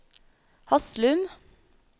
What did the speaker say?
Haslum